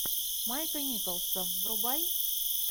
майка николса врубай